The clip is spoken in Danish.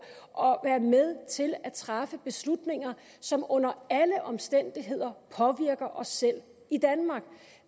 og være med til at træffe beslutninger som under alle omstændigheder påvirker os selv i danmark